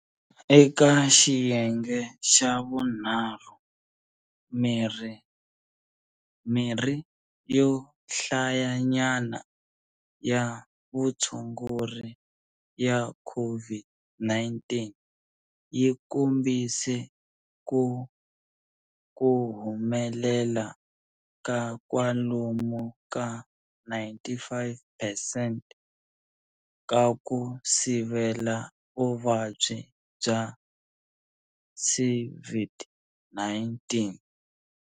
Eka xiyenge xa vunharhu, mirhi yo hlayanyana ya vutshunguri ya COVID-19 yi kombise ku kuhumelela ka kwalomu ka 95 percent ka ku sivela vuvabyi bya CVID-19.